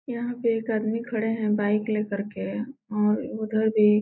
यहाँ पर एक आदमी खड़े है बाइक ले करके और उधर भी --